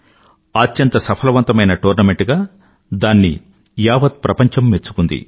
అత్యంత సఫలవంతమైన టోర్నమెంట్ గా దాన్ని యావత్ ప్రపంచం మెచ్చుకుంది